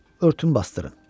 örtün bastırın.